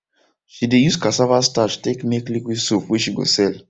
she de use cassava starch take make liquid soap wey she go sell